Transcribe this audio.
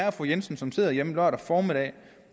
og fru jensen som sidder hjemme lørdag formiddag